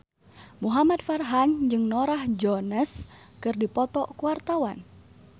Muhamad Farhan jeung Norah Jones keur dipoto ku wartawan